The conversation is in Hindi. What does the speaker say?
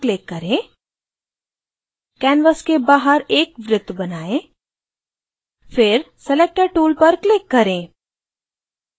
ellipseटूल पर click करें canvas के बाहर एक वृत्त बनाएं फिर selector tool पर click करें